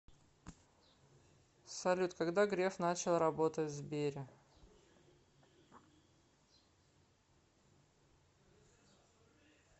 салют когда греф начал работать в сбере